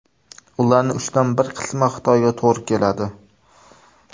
Ularning uchdan bir qismi Xitoyga to‘g‘ri keladi.